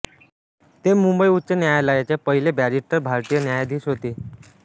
ते मुंबई उच्च न्यायालयाचे पहिले बॅरिस्टर भारतीय न्यायाधीश होते